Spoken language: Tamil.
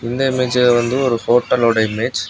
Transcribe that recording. இந்த இமேஜ் வந்து ஒரு ஹோட்டல் லோட இமேஜ் .